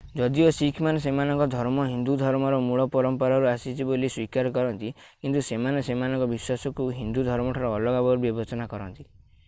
ଯଦିଓ ଶିଖ୍‌ମାନେ ସେମାନଙ୍କ ଧର୍ମ ହିନ୍ଦୁ ଧର୍ମର ମୂଳ ପରମ୍ପରାରୁ ଆସିଛି ବୋଲି ସ୍ୱୀକାର କରନ୍ତି କିନ୍ତୁ ସେମାନେ ସେମାନଙ୍କ ବିଶ୍ୱାସକୁ ହିନ୍ଦୁ ଧର୍ମଠାରୁ ଅଲଗା ବୋଲି ବିବେଚନା କରନ୍ତି ।